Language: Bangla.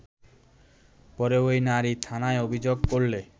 পরে ওই নারী থানায় অভিযোগ করলে